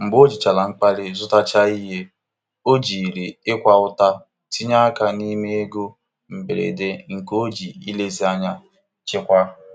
Mgbe ojichara mkpali zụtachaa ihe, o jiri ịkwa ụta tinye aka n'ime ego mberede nke o ji nlezianya chekwaa.